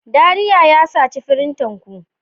Dariya ya saci firinta ku.